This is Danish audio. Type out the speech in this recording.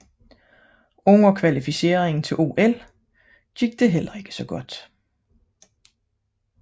Under kvalificeringen til OL gik det heller ikke godt